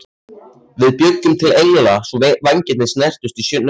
Við bjuggum til engla svo vængirnir snertust í snjónum.